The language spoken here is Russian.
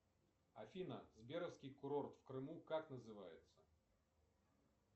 афина сберовский курорт в крыму как называется